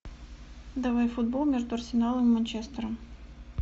давай футбол между арсеналом и манчестером